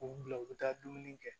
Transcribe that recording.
U bila u bɛ taa dumuni kɛ